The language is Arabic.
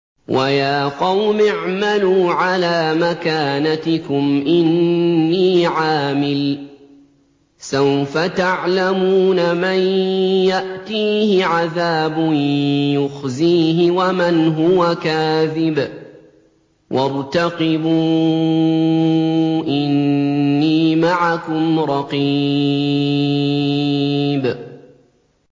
وَيَا قَوْمِ اعْمَلُوا عَلَىٰ مَكَانَتِكُمْ إِنِّي عَامِلٌ ۖ سَوْفَ تَعْلَمُونَ مَن يَأْتِيهِ عَذَابٌ يُخْزِيهِ وَمَنْ هُوَ كَاذِبٌ ۖ وَارْتَقِبُوا إِنِّي مَعَكُمْ رَقِيبٌ